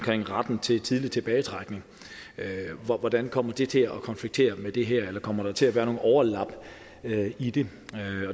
retten til tidlig tilbagetrækning hvordan kommer det til at konflikte med det her og kommer der til at være nogle overlap i det